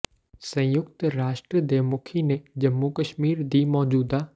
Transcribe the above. ਸੰਯੁਕਤ ਰਾਸ਼ਟਰ ਦੇ ਮੁਖੀ ਨੇ ਜੰਮੂ ਕਸ਼ਮੀਰ ਦੀ ਮੌਜੂਦਾ